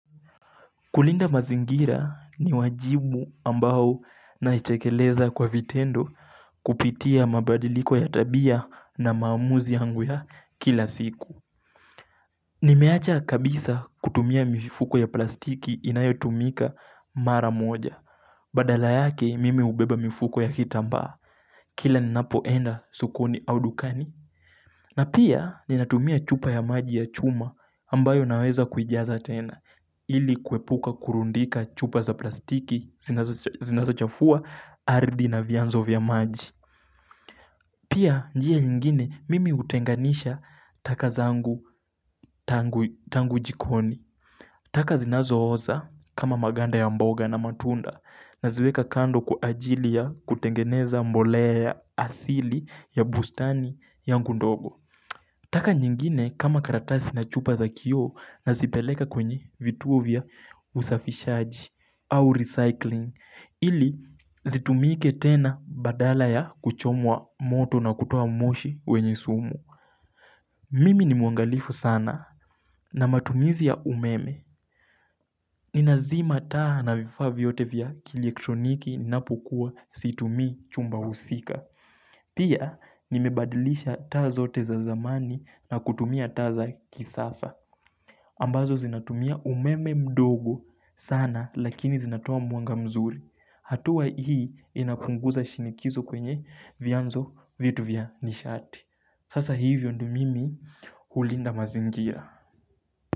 Kulinda mazingira ni wajibu ambao naitekeleza kwa vitendo kupitia mabadiliko ya tabia na maamuzi yangu ya kila siku Nimeacha kabisa kutumia mifuko ya plastiki inayo tumika mara moja Badala yake mimi ubeba mifuko ya kitamba Kila ninapoenda sokoni au dukani na pia ninatumia chupa ya maji ya chuma ambayo naweza kujiaza tena ili kuepuka kurundika chupa za plastiki zinazo chafua ardhi na vyanzo vya maji Pia njia nyingine mimi utenganisha taka zangu tangu jikoni taka zinazo oza kama maganda ya mboga na matunda Naziweka kando kwa ajili ya kutengeneza mbolea asili ya bustani yangu ndogo taka nyingine kama karatasi na chupa za kioo nazipeleka kwenye vituo vya usafishaji au recycling ili zitumike tena badala ya kuchomwa moto na kutoa moshi wenye sumu Mimi ni muangalifu sana na matumizi ya umeme Nina zima taa na vifa viyote vya kijiektroniki napokua situmi chumba husika Pia nimebadilisha taa zote za zamani na kutumia taa kisasa ambazo zinatumia umeme mdogo sana lakini zinatoa mwanga mzuri hatua hii inapunguza shinikizo kwenye vyanzo vitu vya nishati. Sasa hivyo ndo mimi hulinda mazingia.